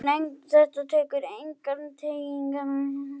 Þetta eru engar tengingar við þessi dauðsföll.